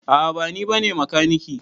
A'a ba ni bane makaniki.